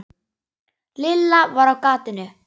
Lilla var á gatinu.